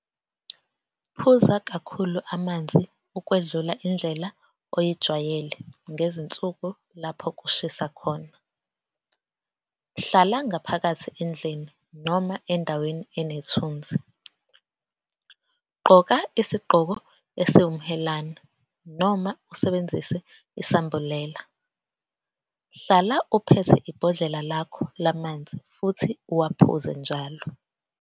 Phuza kakhulu amanzi ukwedlula indlela oyijwayele ngezinsuku lapho kushisa khona. Hlala ngaphakathi endlini noma endaweni enethunzi. Gqoka isigqoko esiwumhelane noma usebenzise isambulela. Hlala uphethe ibhodlela lakho lamanzi futhi uwaphuze njalo.